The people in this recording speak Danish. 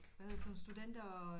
Hvad hedder sådan studenter